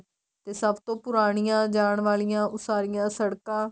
ਤੇ ਸਭ ਤੋ ਪੁਰਾਣੀਆਂ ਜਾਣ ਵਾਲੀਆਂ ਉਸਾਰੀਆਂ ਸੜਕਾਂ